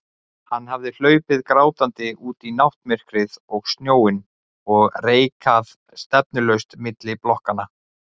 Hann hafði hlaupið grátandi út í náttmyrkrið og snjóinn og reikað stefnulaust milli blokkanna.